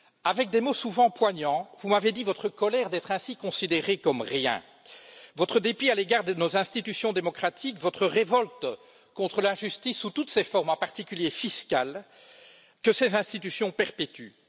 Avec des mots souvent poignants, vous m'avez dit votre colère d'être ainsi considérés comme rien, votre dépit à l'égard de nos institutions démocratiques, votre révolte contre l'injustice sous toutes ses formes, en particulier fiscale, que ces institutions perpétuent.